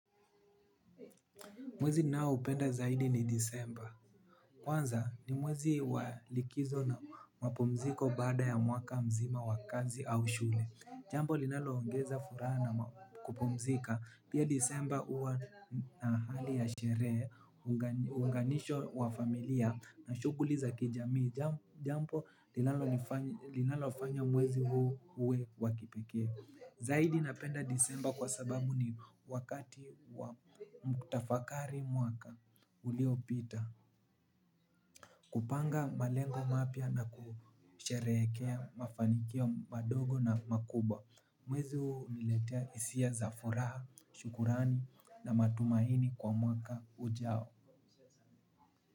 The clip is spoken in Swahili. Mwezi ninao upenda zaidi ni disemba. Kwanza ni mwezi wa likizo na mapumziko baada ya mwaka mzima wa kazi au shule. Jambo linalo ongeza furaha na kupumzika. Pia disemba huwa na hali ya sherehe, uunganisho wa familia na shughuli za kijamii. Jambo linalofanya mwezi huu uwe wa kipekee. Zaidi napenda disemba kwa sababu ni wakati wa kutafakari mwaka uliopita. Kupanga malengo mapya na kusherehekea mafanikio madogo na makubwa. Mwezi huu huniletea hisia za furaha, shukurani na matumaini kwa mwaka ujao.